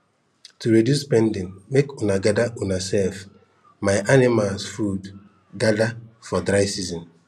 to reduce spending make una gather una sef my animals food gather for dry season